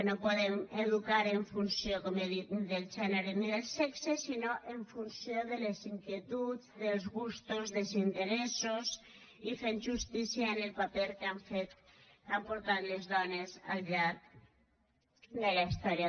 no podem educar en funció com he dit del gènere ni del sexe sinó en funció de les inquietuds dels gustos dels interessos i fent justícia al paper que han fet les dones al llarg de la història